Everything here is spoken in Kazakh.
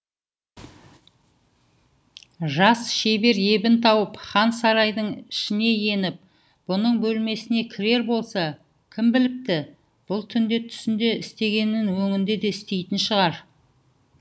жас шебер ебін тауып хан сарайдың ішіне еніп бұның бөлмесіне кірер болса кім біліпті бұл түнде түсінде істегенін өңінде де істейтін шығар